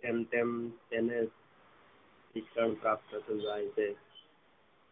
તેમ તેમ તેને શિક્ષણ પ્રાપ્ત થાય છે